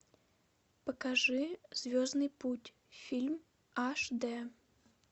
покажи звездный путь фильм аш дэ